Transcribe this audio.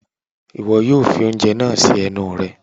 iwọ yóò fi oúnjẹ naa si ẹnu rẹ